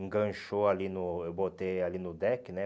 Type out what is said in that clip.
Enganchou ali no... Eu botei ali no deck, né?